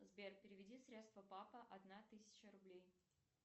сбер переведи средства папа одна тысяча рублей